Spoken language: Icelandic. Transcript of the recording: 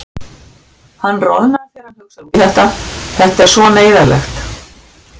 Hann roðnar þegar hann hugsar út í þetta, þetta er svo neyðarlegt.